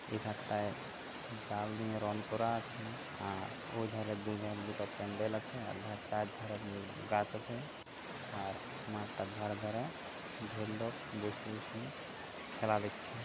এধারটায় জাল নিয়ে রণ করা আছে আর ওইধারে দুধারে দুটো প্যান্ডেল আছে। আর ধার চারধারে গাছ আছে আর মাঠটার ধারে ধারে ঢের লোক বসে বসে খেলা দেখছে।